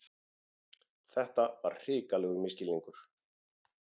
Þetta var hrikalegur misskilningur!